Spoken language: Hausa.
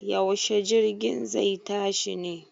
Yaushe jirgin zai tashi ne?